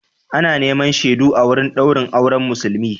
Ana neman shaidu a wurin daurin auren Musulmi.